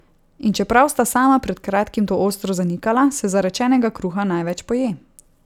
In čeprav sta sama pred kratkim to ostro zanikala, se zarečenega kruha največ poje.